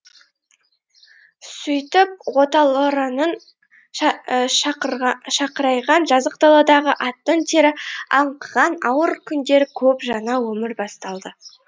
сөйтіп оталораның шақырайған жазық даладағы аттың тері аңқыған ауыр күндері көп жаңа өмірі басталады